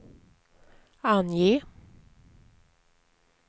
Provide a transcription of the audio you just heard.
ange